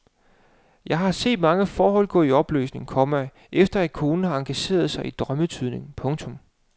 Jeg har set mange forhold gå i opløsning, komma efter at konen har engageret sig i drømmetydning. punktum